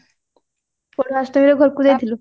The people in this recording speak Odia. ପଢୁଆଁ ଅଷ୍ଟମୀରେ ଘରକୁ ଯାଇଥିଲୁ